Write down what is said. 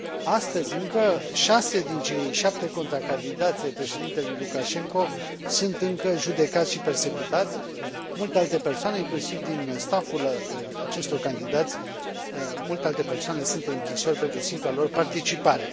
Astăzi, încă, 6 din cei 7 contracandidați ai președintelui Lukashenko sunt încă judecați și persecutați. Multe alte persoane, inclusiv din stafful acestor candidați, sunt în închisori pentru simpla lor participare.